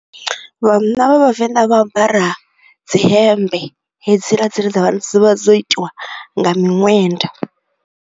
Vhanna vha vhavenḓa vha ambara dzi hembe, hedzila dzine dza vha dzi vha dzo itiwa nga minwenda.